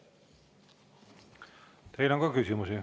Teile on ka küsimusi.